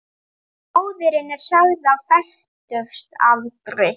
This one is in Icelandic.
Móðirin er sögð á fertugsaldri